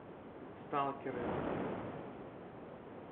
сталкеры